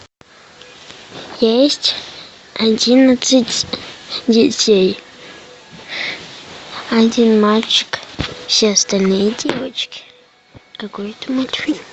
есть одиннадцать детей один мальчик все остальные девочки какой это мультфильм